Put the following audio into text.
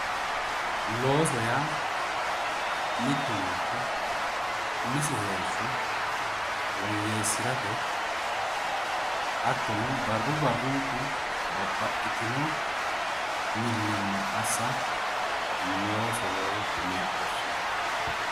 Looso yaa mittu manchi umisi heeshsho woyyeessirate hattono barru barrunku babbaxitino millimmo assa loosoho yine woshshineemmo.